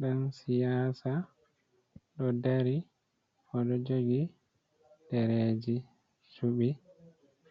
Ɗan siyasa ɗo dari, o ɗo jogi dereeji cuɓi.